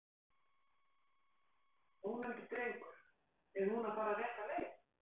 Ónefndur drengur: Er hún að fara rétta leið?